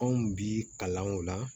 Anw bi kalan o la